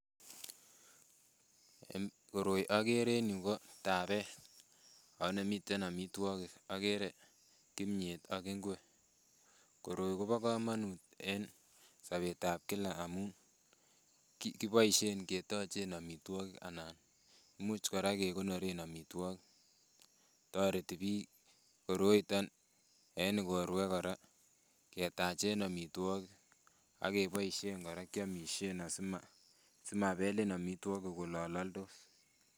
Koroi akere en yu ko tabeet, ako nemiten amitwogik, akere kimnyet ak ingwek, koroi kobo kamanut en sobetab kila amun, kiboisien ketochen amitwogik anan imuch kora kekonoren amitwogik, toreti piik koroiton en igorwek kora ketachen amitwogik, ak keboisien kora kyamisien si mabelin amitwogik olololdos.